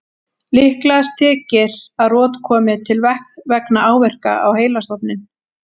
Líklegast þykir að rot komi til vegna áverka á heilastofninn.